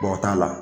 o t'a la